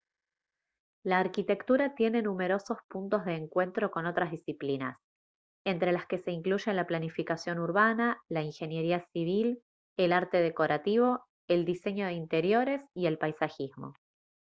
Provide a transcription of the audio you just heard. la arquitectura tiene numerosos puntos de encuentro con otras disciplinas entre las que se incluyen la planificación urbana la ingeniería civil el arte decorativo el diseño de interiores y el paisajismo